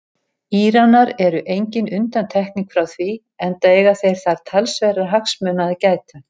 Íranar eru engin undantekning frá því enda eiga þeir þar talsverðra hagsmuna að gæta.